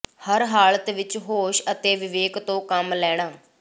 ਹਰ ਹਾਲਤ ਵਿਚ ਹੋਸ਼ ਅਤੇ ਵਿਵੇਕ ਤੋਂ ਕੰਮ ਲੈਣਾਂ